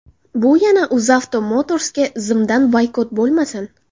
Bu yana UzAuto Motors’ga zimdan boykot bo‘lmasin.